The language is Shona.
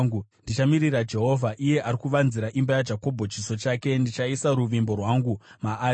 Ndichamirira Jehovha, iye ari kuvanzira imba yaJakobho chiso chake. Ndichaisa ruvimbo rwangu maari.